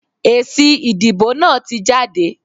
Èsì ìdìbò náà tí jáde.